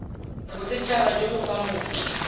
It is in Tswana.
bosethaba jo bo kwa mose